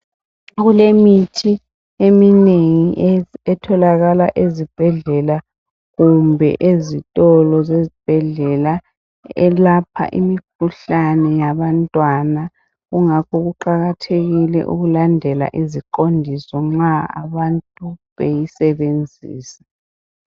Kulemithi eminengi etholakala ezibhedlela kumbe ezitolo zezibhedlela elapha imikhuhlane yabantwana. Kungakho kuqakathekile ukulandela iziqondiso nxa abantu beyisebenzisa.